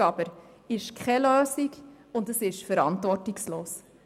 Eine Unterversorgung ist jedoch keine Lösung und verantwortungslos.